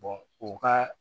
u ka